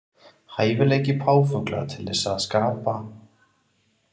Hæfileiki páfagauka til að skapa ýmis hljóð liggur fyrst og fremst í uppbyggingu barkakýlisins.